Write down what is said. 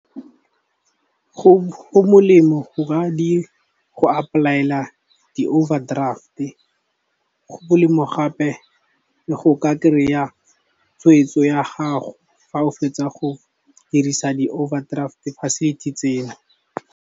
Go molemo go apply-ela di-overdraft-e go molemo gape le go ka kry-a tshweetso ya gago fa o fetsa go dirisa di-overdraft facility tseo.